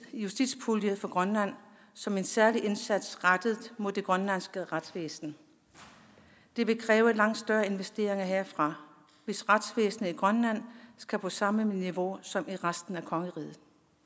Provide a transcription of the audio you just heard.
justitspulje for grønland som en særlig indsats rettet mod det grønlandske retsvæsen det vil kræve langt større investeringer herfra hvis retsvæsenet i grønland skal på samme niveau som i resten af kongeriget